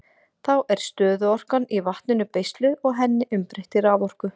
Þá er stöðuorkan í vatninu beisluð og henni umbreytt í raforku.